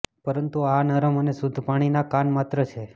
પરંતુ આ નરમ અને શુદ્ધ પ્રાણીના કાન માત્ર છે